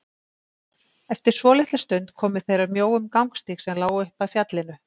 Eftir svolitla stund komu þeir að mjóum gangstíg sem lá upp að fjallinu.